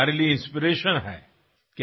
আৰু যেতিয়াই মই আপোনাৰ তালৈ যাও